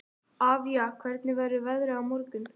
Avía, hvernig verður veðrið á morgun?